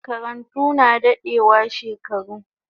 Makarantu na dadewa shekaru